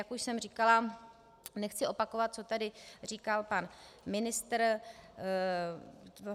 Jak už jsem říkala, nechci opakovat, co tady říkal pan ministr.